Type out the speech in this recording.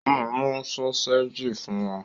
Ó máa mú sọ́séjì fún wa!